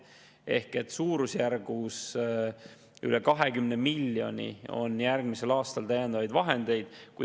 Ehk suurusjärgus üle 20 miljoni on järgmisel aastal täiendavaid vahendeid.